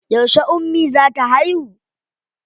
Yauce ummi za ta haihu?